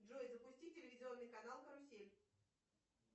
джой запусти телевизионный канал карусель